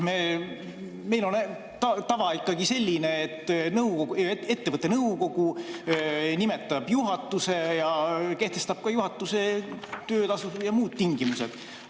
Meil on ikkagi selline tava, et ettevõtte nõukogu nimetab juhatuse ja kehtestab ka juhatuse töötasud ja muud tingimused.